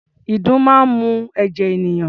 Ìdun máa ń mu ẹ̀jẹ̀ ènìyàn.